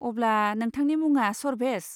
अब्ला नोंथांनि मुङा सर्भेस।